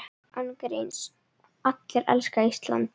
Án gríns, allir elska Ísland.